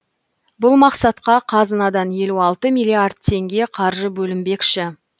бұл мақсатқа қазынадан елу алты миллиард теңге қаржы бөлінбекші